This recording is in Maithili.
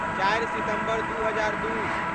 चारि सितम्बर दू हजार दू